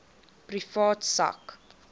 privaat sak